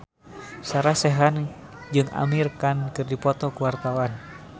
Sarah Sechan jeung Amir Khan keur dipoto ku wartawan